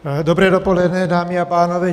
Dobré dopoledne, dámy a pánové.